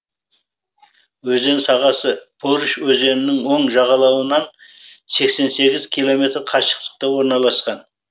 өзен сағасы порыш өзенінің оң жағалауынан сексен сегіз километр қашықтықта орналасқан